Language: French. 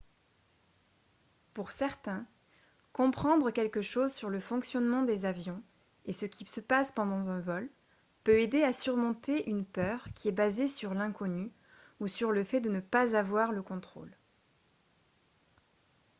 pour certains comprendre quelque chose sur le fonctionnement des avions et ce qui se passe pendant un vol peut aider à surmonter une peur qui est basée sur l'inconnu ou sur le fait de ne pas avoir le contrôle